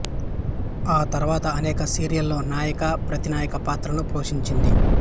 ఆ తరువాత అనేక సీరియళ్ళలో నాయక ప్రతినాయక పాత్రలను పోషించింది